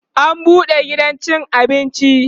an buɗe gidan cin abinci